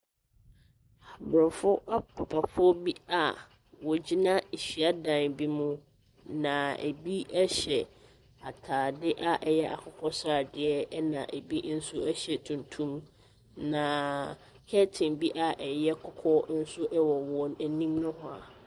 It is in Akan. Borɔfo apapafoɔ bi a wɔgyina hyiadan bi mu, na ɛbi hyɛ atadeɛ a ɛyɛ akokɔsradeɛ, ɛna ɛbi nso hyɛ hyɛ tuntum. Naaaa curtain bi a ɛyɛ kɔkɔɔ nso wɔ wɔn anim nohoa.